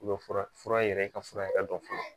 U bɛ fura fura yɛrɛ ka fura yɛrɛ dɔ fɔ